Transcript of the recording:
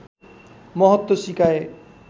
महत्व सिकाए